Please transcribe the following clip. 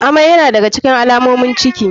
Amai yana da ga cikin alamomin ciki.